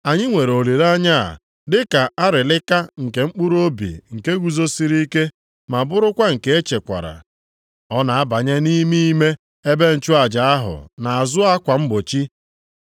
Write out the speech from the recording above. Anyị nwere olileanya a dị ka arịlịka nke mkpụrụobi nke guzosiri ike ma bụrụkwa nke e chekwara. Ọ na-abanye nʼime ime ebe nchụaja ahụ nʼazụ akwa mgbochi